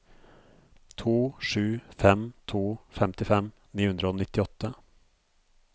to sju fem to femtifem ni hundre og nittiåtte